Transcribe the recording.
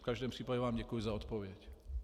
V každém případě vám děkuji za odpověď.